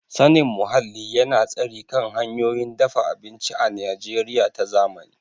Sanin muhalli yana tasiri kan hanyoyin dafa abinci a Najeriya ta zamani.